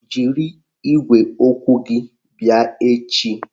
Jiri igwe okwu gị bịa echi!